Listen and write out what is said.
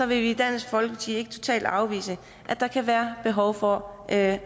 vil vi i dansk folkeparti ikke totalt afvise at der kan være behov for at